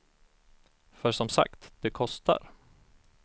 För som sagt, det kostar.